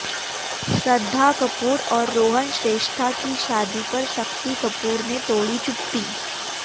श्रद्धा कपूर और रोहन श्रेष्ठा की शादी पर शक्ति कपूर ने तोड़ी चुप्पी